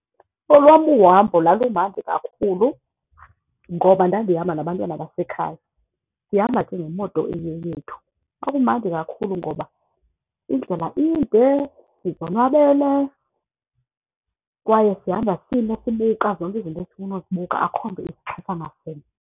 Olwam uhambo lwalumandi kakhulu ngoba ndandihamba nabantwana basekhaya, sihamba ke ngemoto eyeyethu. Kwakumandi kakhulu ngoba indlela inde, sizonwabele kwaye sihamba sima sibuka zonke izinto esifuna uzibuka, akho nto .